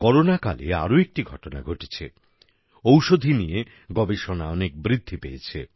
করোনাকালে আরো একটি ঘটনা ঘটেছে ঔষধী ঔষধি নিয়ে গবেষণা অনেক বৃদ্ধি পেয়েছে